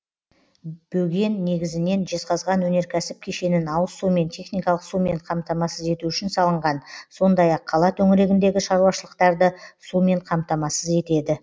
бөген негізінен жезқазған өнеркәсіп кешенін ауыз сумен техникалық сумен қамтамасыз ету үшін салынған сондай ақ қала төңірегіндегі шаруашылықтарды сумен қамтамасыз етеді